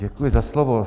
Děkuji za slovo.